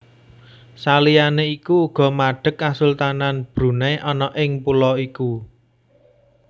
Saliyané iku uga madeg Kasultanan Brunei ana ing pulo iku